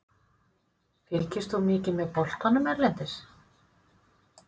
Fylgist þú mikið með boltanum erlendis?